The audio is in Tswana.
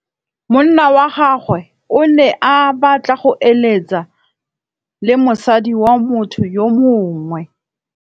Monna wa gagwe o ne a batla go êlêtsa le mosadi wa motho yo mongwe.